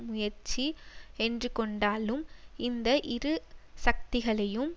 முயற்சி என்று கொண்டாலும் இந்த இரு சக்திகளையும்